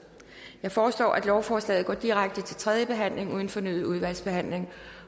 jeg foreslår at lovforslaget går direkte til tredje behandling uden fornyet udvalgsbehandling